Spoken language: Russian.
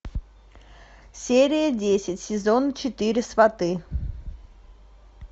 серия десять сезон четыре сваты